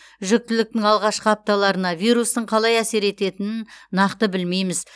жүктіліктің алғашқы апталарына вирустың қалай әсер ететінін нақты білмейміз